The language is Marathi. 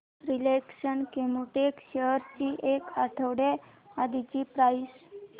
रिलायन्स केमोटेक्स शेअर्स ची एक आठवड्या आधीची प्राइस